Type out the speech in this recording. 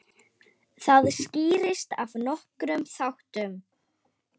Það skýrist af nokkrum þáttum.